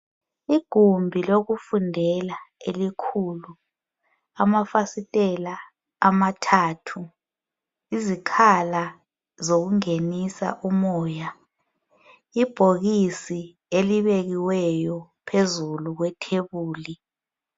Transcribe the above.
Igumbi lokufundela elikhulu, amafasitela amathathu, izikhala zokungenisa umoya. Ibhokisi elibekiweyo phezulu kwethebuli.